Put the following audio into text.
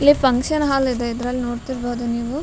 ಇಲ್ಲಿ function hall ಇದೆ ಇದ್ರಲ್ಲ್ ನೋಡ್ತಿರಬಹುದು ನೀವು --